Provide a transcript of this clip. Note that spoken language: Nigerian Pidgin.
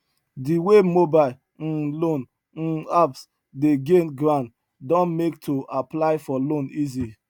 di wey mobile um loan um apps dey gain ground don make to apply for loan easy